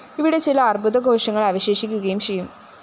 ഇവിടെ ചില അര്‍ബുദ കോശങ്ങള്‍ അവശേഷിക്കുകയും ചെയ്യും